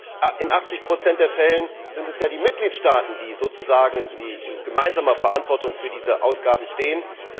Wer schlampt? In 80 der Fälle sind es die Mitgliedstaaten, die sozusagen in gemeinsamer Verantwortung für diese Ausgaben stehen.